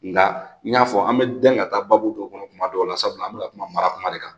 Nka n y'a fɔ an bɛ dɛn ka taa baabu dɔ kɔnɔ kuma dɔw la sabula an bɛna kuma mara kuma de kan